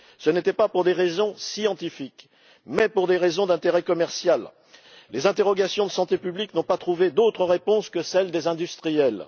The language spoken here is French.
Ce n'était pas pour des raisons scientifiques mais pour des raisons d'intérêt commercial, et les interrogations de santé publique n'ont pas trouvé d'autres réponses que celles des industriels.